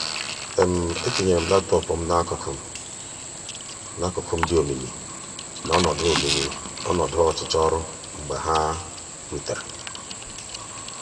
etinyere m laptọọpụ m n'akụkụ—m dị omimi na ọnọdụ omimi na ọnọdụ ọchụchọ ọrụ mgbe ha rutere.